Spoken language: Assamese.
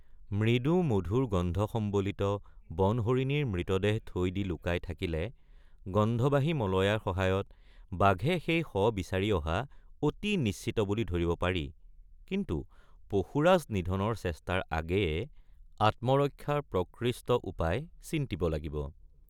মৃদুমধুৰ গন্ধ সম্বলিত বনহৰিণীৰ মৃতদেহ থৈ দি লুকাই থাকিলে গন্ধবাহী মলয়াৰ সহায়ত বাঘে সেই শ বিচাৰি অহা অতি নিশ্চিত বুলি ধৰিব পাৰি কিন্তু পশুৰাজ নিধনৰ চেষ্টাৰ আগেয়ে আত্মৰক্ষাৰ প্ৰকৃষ্ট উপায় চিন্তিব লাগিব।